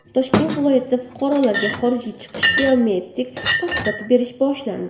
Toshkent viloyatida fuqarolarga xorijga chiqish biometrik pasporti berish boshlandi.